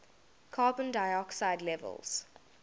carbon dioxide levels